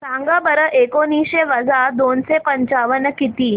सांगा बरं एकोणीसशे वजा दोनशे पंचावन्न किती